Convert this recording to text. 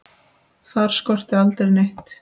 Þar skorti aldrei neitt.